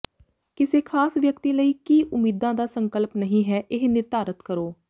ਕਿਸੇ ਖਾਸ ਵਿਅਕਤੀ ਲਈ ਕੀ ਉਮੀਦਾਂ ਦਾ ਸੰਕਲਪ ਨਹੀਂ ਹੈ ਇਹ ਨਿਰਧਾਰਤ ਕਰੋ